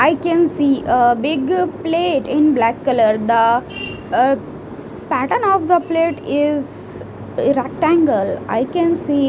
I can see ah big plate in black colour the ahh pattern of the plate is rectangle I can see--